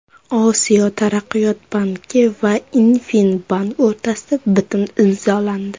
Osiyo taraqqiyot banki va InFin Bank o‘rtasida bitim imzolandi.